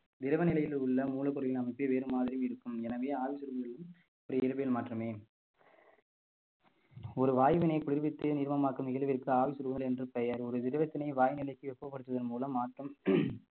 திரவ நிலையில் உள்ள மூலப்பொருளின் அமைப்பு வேறு மாதிரி இருக்கும் எனவே ஆவி சுருங்குதல் இயற்பியல் மாற்றமே ஒரு வாயுவினை குளிர்வித்து நீர்மமாக்கும் நிகழ்விற்கு ஆள் சிறுவர் என்று பெயர் ஒரு திரவத்தினை வாயு நிலைக்கு வெப்பப்படுத்துவதன் மூலம் மாற்றம்